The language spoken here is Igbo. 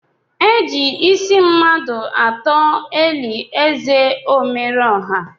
Eji ịsị mmadụ atọ eli ézè Omerọọha.